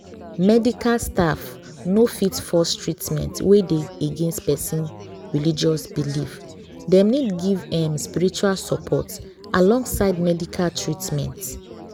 medical staff no fit force treatment wey dey against pesin religious belief dem need give um spiritual support alongside medical treatment.